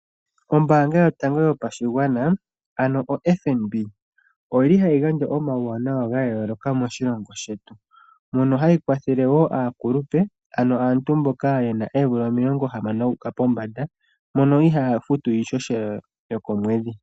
Ombaanga yotango yopashigwana ano oFNB , oyili hayi gandja omauwanawa gayooloka moshilongo shetu. Mono hayi kwathele wo aakulupe, ano aantu mboka yena oomvula 60 okuuka pombanda, mono ihaaya futu iihohela yokomwedhi.